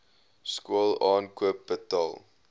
skool aankoop betaal